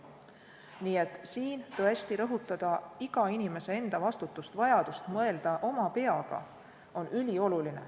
Nii et on ülioluline rõhutada iga inimese enda vastutust, vajadust mõelda oma peaga.